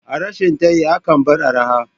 A rashin tayi akan bar arha